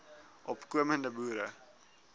opko mende boere